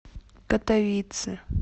катовице